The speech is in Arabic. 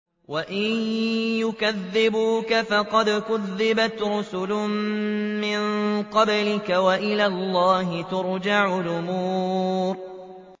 وَإِن يُكَذِّبُوكَ فَقَدْ كُذِّبَتْ رُسُلٌ مِّن قَبْلِكَ ۚ وَإِلَى اللَّهِ تُرْجَعُ الْأُمُورُ